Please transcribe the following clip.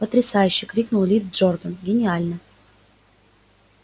потрясающе крикнул ли джордан гениально